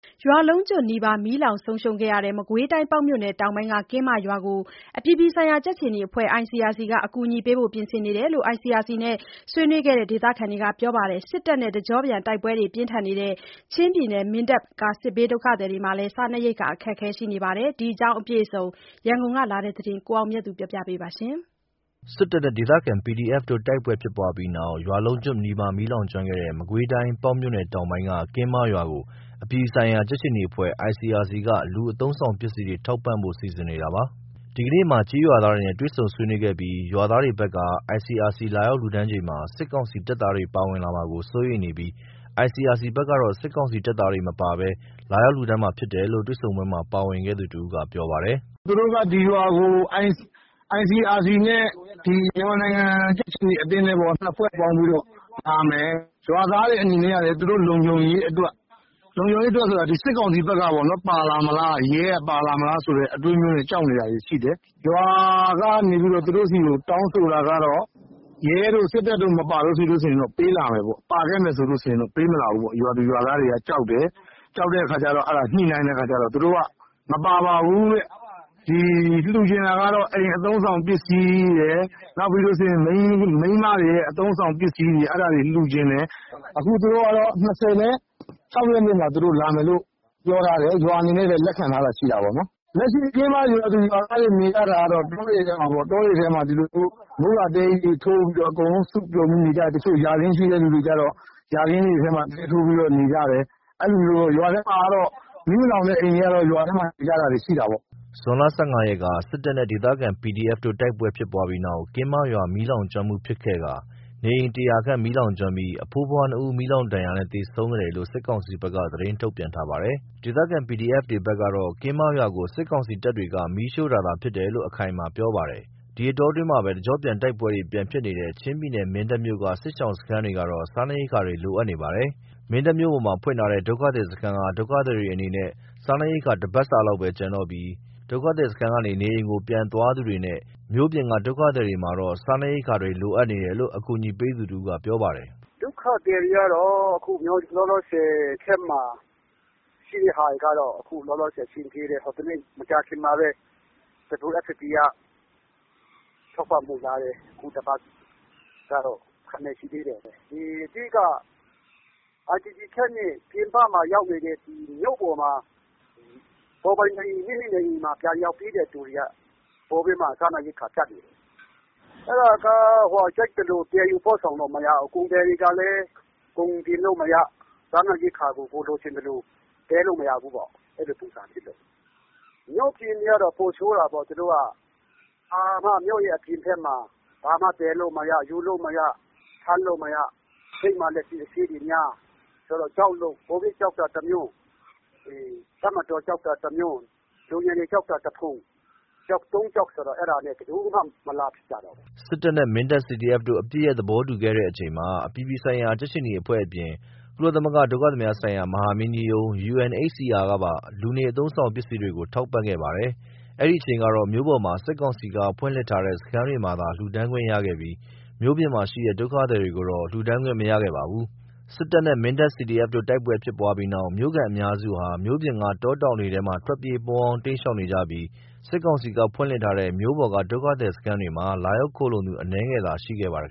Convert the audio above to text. ရွာလုံးကျွတ်နီးပါး မီးလောင်ဆုံးရှုံးခဲ့တဲ့ မကွေးတိုင်း၊ ပေါက်မြို့နယ်တောင်ပိုင်းက ကင်းမရွာကို အပြည်ပြည်ဆိုင်ရာ ကြက်ခြေနီအဖွဲ့ ICRC ကအကူအညီပေးဖို့ ပြင်ဆင်နေတယ်လို့ ICRC နဲ့ ဆွေးနွေးခဲ့တဲ့ ဒေသခံတွေကပြောပါတယ်။ စစ်တပ်နဲ့ တကျော့ပြန်တိုက်ပွဲပြင်းထန်နေတဲ့ ချင်းပြည်နယ်၊ မင်းတပ် စစ်ဘေးဒုက္ခသည်တွေမှာတော့ စားနပ်ရိက္ခာ အခက်အခဲရှိနေပါတယ်။ ဒီအကြောင်းအပြည့်အစုံ ရန်ကုန်ကလာတဲ့ သတင်းကို ကိုအောင်မြတ်သူက ပြောပြပါမယ်။ စစ်တပ်နဲ့ ဒေသခံ PDF တို့ တိုက်ပွဲဖြစ်ပွားပြီးနောက် ရွာလုံးကျွတ်နီးပါး မီးလောင်ကျွမ်းခဲ့တဲ့ မကွေးတိုင်း ပေါက်မြို့နယ်တောင်ပိုင်းက ကင်းမရွာကို အပြည်ပြည်ဆိုင်ရာ ကြက်ခြေနီအဖွဲ့ ICRC က လူအသုံးအဆောင် ပစ္စည်းတွေ ထောက်ပံ့ပေးဖို့ စီစဉ်နေတာပါ။ ဒီကနေ့မှာ ကျေးရွာသားတွေနဲ့ တွေ့ဆုံဆွေးနွေးခဲ့ပြီး ရွာသားတွေဘက်က ICRC လာရောက်လှူဒါန်းချိန်မှာ စစ်ကောင်စီတပ်သားတွေပါဝင်လာမှာ စိုးရိမ်နေပြီး ICRC ဘက်ကတော့ စစ်ကောင်စီတပ်သားတွေမပါဘဲ လာရောက်လှူဒါန်းမှာဖြစ်တယ်လို့ တွေ့ဆုံပွဲမှာ ပါဝင်ခဲ့သူ တဦးက ပြောပါတယ်။ “သူတို့က ဒီရွာကို ICRC နဲ့ မြန်မာနိုင်ငံကြက်ခြေနီအဖွဲ့နဲ့ ၂ ဖွဲ့ပေါင်းပြီးတော့ လာမယ်။ ရွာသားတွေအနေနဲ့ကလည်း သူတို့လုံခြုံရေးအတွက် လုံခြုံရေးအတွက်ဆိုတာ စစ်ကောင်စီဘက်ကပေါ့နော် ပါလာမလား ရဲကပါလာမလားဆိုတဲ့ အတွေးမျိုးနဲ့ ကြောက်နေတာတွေရှိတယ်။ ရွာကနေပြီး သူတို့ဆီကို တောင်းဆိုတာကတော့ ရဲတို့ စစ်တပ်တို့ မပါရင်ပေးလာမယ်ပေါ့။ ပါခဲ့မယ်ဆိုရင်ပေးမလာဘူးပေါ့ ရွာသူရွာသားတွေက ကြောက်တယ်။ ကြောက်တဲ့အခါ ညှိနှိုင်းတဲ့အခါကျတော့ သူတို့က မပါပါဘူးတဲ့ လှူချင်တာကတော့ အိမ်အသုံးဆောင်ပစ္စည်းရယ် မိန်းမတွေရဲ့ အသုံးအဆောင်ပစ္စည်းတွေရယ် အဲ့ဒါတွေ လှူချင်တယ်တဲ့ အခုသူတို့ကတော့ ၂၆ ရက်နေ့မှာ ပြောထားတယ်။ ရွာအနေနဲ့လည်း လက်ခံထားတာ ရှိတာပေါ့။ လက်ရှိကင်းမရွာသူရွာသားတွေ နေရတာကတော့ တောတွေထဲမှာ ဒီလိုမျိုး မိုးကာတဲကြီးတွေ အကုန်လုံး စုပြုံပြီးနေကြတယ်။ ယာခင်းရှိတဲ့သူတွေက ယာခင်းထဲမှာ တဲထိုးပြီးနေကြတယ်။ ရွာထဲမှာတော့ မီးမလောင်တဲ့အိမ်ကတော့ ရွာထဲမှာပဲနေကြတာပေါ့။” ဇွန် ၁၅ ရက်က စစ်တပ်နဲ့ ဒေသခံ PDF တို့ တိုက်ပွဲဖြစ်ပွားပြီးနောက် ကင်းမရွာမှာ မီးလောင်ကျွမ်းမှု ဖြစ်ခဲ့ကာ နေအိမ် ၁၀၀ ခန့်မီးလောင်ကျွမ်းပြီး အဖိုးအဖွား နှစ်ဦး မီးလောင်ဒဏ်ရာနဲ့ သေဆုံးခဲ့တယ်လို့ စစ်ကောင်စီဘက်က သတင်းထုတ်ပြန်ထားပါတယ်။ ဒေသခံ PDF တွေဘက်ကတော့ ကင်းမရွာကို စစ်ကောင်စီတပ်တွေက မီးရှို့တာသာ ဖြစ်တယ်လို့ အခိုင်အမာပြောပါတယ်။ ဒီအတောအတွင်းမှာပဲ တကျော့ပြန်တိုက်ပွဲတွေဖြစ်နေတဲ့ ချင်းပြည်နယ် မင်းတပ်မြို့က စစ်ဘေးရှောင်တွေကတော့ စားနပ်ရိက္ခတွေ လိုအပ်နေပါတယ်။ မင်းတပ်မြို့ပေါ်မှာ ဖွင့်ထားတဲ့ ဒုက္ခသည်စခန်းက ဒုက္ခသည်တွေအနေနဲ့ စားနပ်ရိက္ခာ တပတ်စာလောက်ပဲ ကျန်တော့ပြီး ဒုက္ခသည်စခန်းကနေ နေအိမ်ကို ပြန်သွားသူတွေနဲ့ မြို့ပြင်က ဒုက္ခသည်တွေမှာတော့ စားနပ်ရိက္ခာတွေ လိုနေလို့ ကူညီပေးနေသူတဦးက ပြောပါတယ်။ “ဒုက္ခသည်တွေကတော့ လောလောဆယ် Camp မှာရှိတဲ့ဟာတွေကတော့ အခုလောလောဆယ် အဆင်ပြေတယ်။ ဟိုတနေ့ မကြာခင်ကပဲ WFP က ထောက်ပံ့ဖို့လာတယ်။ အခုတပတ်ကတော့ ရှိသေးတယ်။ အဓိက IDP Camp ကနေ မြို့ပေါ် မိမိနေအိမ်ကို ပြန်ရောက်တဲ့သူတွေက ပိုပြီးမှ စားနပ်ရိက္ခာပြတ်နေတယ်။ အဲ့ဒါက ကြိုက်သလို သယ်ယူပို့ဆောင်လို့မရဘူး။ ကုန်သည်တွေကလည်း ကုန်တင်လို့မရ စားနပ်ရိက္ခာကို ကိုယ်လိုချင်သလို သယ်လို့မရဘူးပေါ့။ မြို့ပြင်တွေကတော့ ပိုဆိုးတာပေါ့။ သူတို့ မြို့ရဲ့အပြင်ဘက်မှာ ဘာမှ သယ်လို့မရ ယူလို့မရ ထမ်းလို့မရ ဂိတ်မှာလည်း အစစ်အဆေးတွေများ ကိုဗစ်ကြောက်တာတမျိုး တပ်မတော် ကြောက်တာတမျိုး လူငယ်တွေကို ကြောက်တာတဖုံ ကြောက် ၃ ကြောက်နဲ့ ဘယ်သူမှ မလာကြတော့ဘူး။” စစ်တပ်နဲ့ မင်းတပ် CDF တို့ အပစ်ရပ် သဘောတူခဲ့တဲ့အချိန်မှာ အပြည်ပြည်ဆိုင်ရာ ကြက်ခြေနီအဖွဲ့အပြင် ကုလသမဂ္ဂ ဒုက္ခသည်များဆိုင်ရာ မဟာမင်းကြီးရုံး UNHCR ကပါ လူနေ အသုံးအဆောင်ပစ္စည်းတွေကို ထောက်ပံ့ခဲ့ပါတယ်။ အဲဒီအချိန်ကတော့ မြို့ပေါ်မှာ စစ်ကောင်စီက ဖွင့်လှစ်ထားတဲ့ စခန်းတွေမှာသာ လှူဒါန်းခွင့်ရခဲ့ပြီး မြို့ပြင်မှာရှိတဲ့ ဒုက္ခသည်တွေကိုတော့ လှူဒါန်းခွင့်မရခဲ့ပါဘူး။ စစ်တပ်နဲ့ မင်းတပ် CDF တို့ တိုက်ပွဲဖြစ်ပွားပြီးနောက် မြို့ခံအများစုဟာ မြို့ပြင်က တောတောင်တွေထဲမှာ ထွက်ပြေး ပုန်းအောင်း တိမ်းရှောင်နေပြီး စစ်ကောင်စီက ဖွင့်လှစ်ထားတဲ့ မြို့ပေါ်က ဒုက္ခသည်စခန်းမှာ လာရောက်ခိုလှုံသူ အနည်းငယ်သာ ရှိခဲ့ပါတယ်